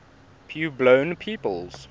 puebloan peoples